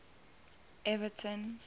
everton